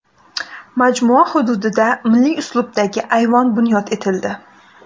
Majmua hududida milliy uslubdagi ayvon bunyod etildi.